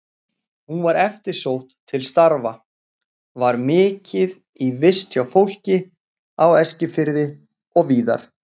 Hún var eftirsótt til starfa, var mikið í vist hjá fólki á Eskifirði og víðar.